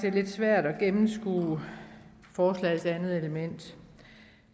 er lidt svært at gennemskue forslagets andet element